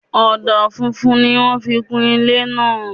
Ọ̀dà funfun ni wọ́n fi kún ilé náà